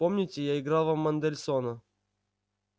помните я играл вам мендельсона